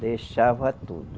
Deixava tudo.